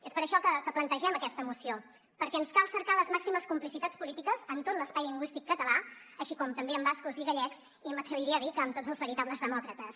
és per això que plantegem aquesta moció perquè ens cal cercar les màximes complicitats polítiques en tot l’espai lingüístic català així com també amb bascos i gallecs i m’atreviria a dir que amb tots els veritables demòcrates